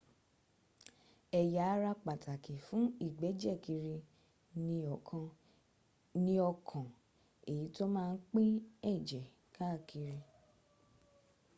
ẹ̀yà ara pàtàkì fún ìgbẹ́jẹ̀ kiri ni ọkàn èyí tó má ń pín ẹ̀jẹ̀ káàkiri